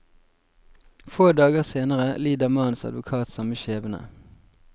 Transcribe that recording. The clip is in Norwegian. Få dager senere lider mannens advokat samme skjebne.